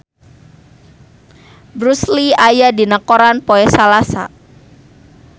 Bruce Lee aya dina koran poe Salasa